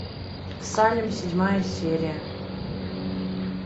салем седьмая серия